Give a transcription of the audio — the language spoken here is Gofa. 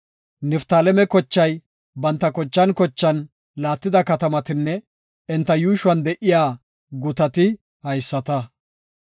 Niftaaleme kochay banta kochan kochan laattida katamatinne enta yuushuwan de7iya gutati haysata.